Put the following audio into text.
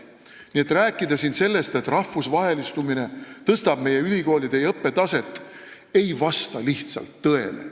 Nii et rääkida siin sellest, et rahvusvahelistumine tõstab meie ülikoolide õppetaset, ei vasta lihtsalt tõele.